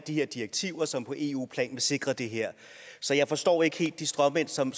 de her direktiver som på eu plan vil sikre det her så jeg forstår ikke helt den stråmand som